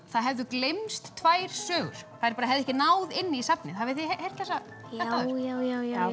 það hefðu gleymst tvær sögur þær hefðu ekki náð inn í safnið hafið þið heyrt þetta áður já já já